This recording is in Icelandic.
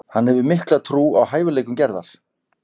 Hann hefur mikla trú á hæfileikum Gerðar.